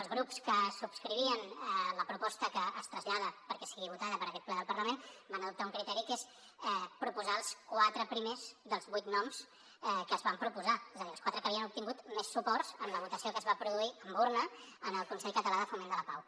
els grups que subscrivien la proposta que es trasllada perquè sigui votada per aquest ple del parlament van adoptar un criteri que és proposar els quatre primers dels vuit noms que es van proposar és a dir els quatre que havien obtingut més suports en la votació que es va produir amb urna en el consell català de foment de la pau